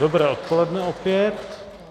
Dobré odpoledne opět.